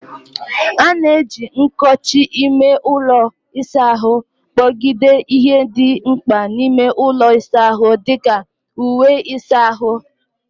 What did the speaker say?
A na-eji nkochi ime ụlọ ịsa ahụ kpọgidere ihe dị mkpa n'ime ụlọ ịsa ahụ dị ka uwe ịsa ahụ, wdg.